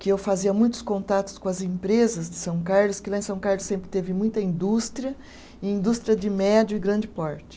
que eu fazia muitos contatos com as empresas de São Carlos, que lá em São Carlos sempre teve muita indústria, indústria de médio e grande porte.